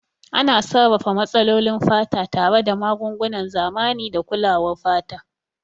Ana sarrafa matsalolin fata tare da magungunan zamani da kulawar fata.